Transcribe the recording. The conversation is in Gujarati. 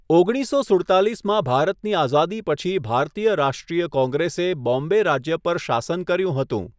ઓગણીસસો સુડતાલીસમાં ભારતની આઝાદી પછી ભારતીય રાષ્ટ્રીય કોંગ્રેસે બોમ્બે રાજ્ય પર શાસન કર્યું હતું.